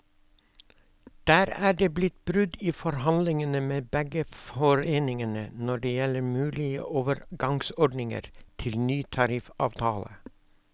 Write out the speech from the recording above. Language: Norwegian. Der er det blitt brudd i forhandlingene med begge foreningene når det gjelder mulige overgangsordninger til ny tariffavtale.